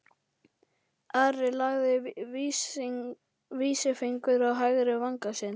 Ari lagði vísifingur á hægri vanga sinn.